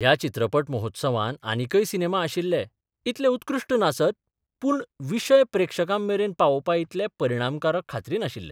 ह्या चित्रपट महोत्सवांत आनिकय सिनेमा आशिल्ले इतले उत्कृष्ट नासत, पूर्ण विशय प्रेक्षकां मेरेन पावोबपा इतले परिणामकारक खात्रीन आशिल्ले.